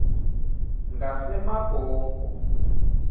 ngasemagogo